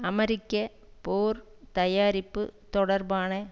அமெரிக்க போர் தயாரிப்பு தொடர்பான